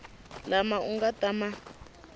lama u nga ta ma